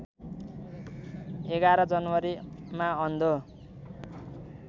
११ जवानीमा अन्धो